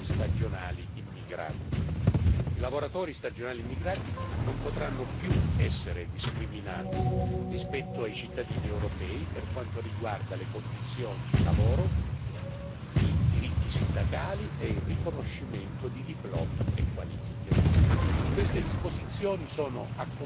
I lavoratori stagionali immigrati non potranno più essere discriminati rispetto ai cittadini europei per quanto riguarda le condizioni di lavoro, i diritti sindacali e il riconoscimento di diplomi e qualifiche. Queste disposizioni sono accompagnate da sanzioni efficaci